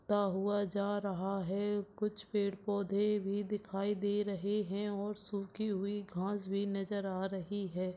ता वहाँ जा रहा है कुछ पेड़ - पौधे भी दिखाई दे रहे है और सुखी हुई घास भी नजर आ रही है।